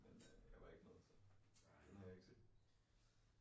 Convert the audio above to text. Men øh jeg var ikke med så den har jeg ikke set